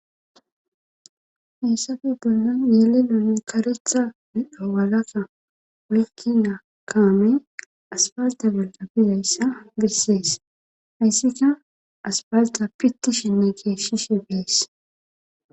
Heysape bollan yeelelone karetha midho walakka woykki na kaame aspasdabela bizayssa bessees hayssika aspasda pitti shenne keeshshishe bees